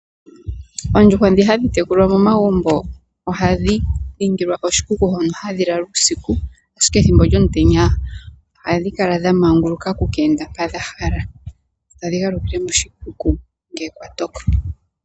Oondjuhwa dhi hadhi tekulwa momagumbo oha dhi ningilwa oshikuku hono hadhi lala uusiku, ashike thimbo lyomutenya ohadhi kala dha manguluka oku ka enda mpoka dhahala, tadhi galukile moshikuku ngele kwa toko.